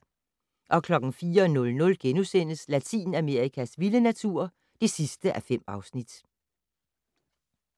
04:00: Latinamerikas vilde natur (5:5)*